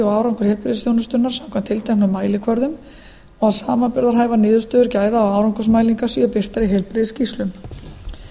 og árangur heilbrigðisþjónustunnar samkvæmt tilteknum mælikvörðum og að samanburðarhæfar niðurstöður gæða og árangsursmælinga séu birtar í heilbrigðisskýrslum tilgangurinn